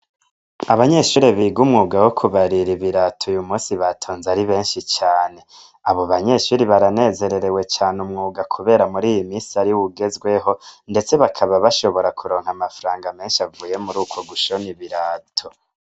Abanyeshure biga umwuga wokubarira ibirato uyu munsi batonze ari benshi cane. Abo banyeshure baranezererewe cane umwuga kubera muriyi minsi ariwo ugezweho, ndetse bakaba bashobora kuronka amafaranga menshi avuye muruko gushona ibirato.